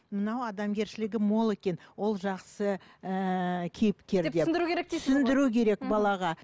мынау адамгершілігі мол екен ол жақсы ыыы кейіпкер деп түсіндіру керек дейсіз түсіндіру керек балаға